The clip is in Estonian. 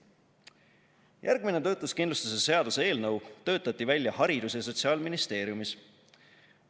Järgmine töötuskindlustuse seaduse eelnõu töötati välja haridus- ja sotsiaalministeeriumis.